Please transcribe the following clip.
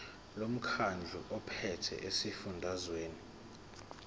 lomkhandlu ophethe esifundazweni